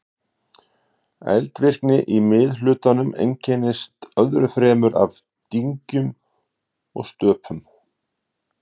eldvirkni í miðhlutanum einkennist öðru fremur af dyngjum og stöpum